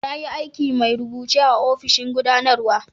Na yi aikin mai rubuce a'ofishin gudanarwa.